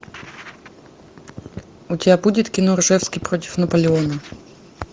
у тебя будет кино ржевский против наполеона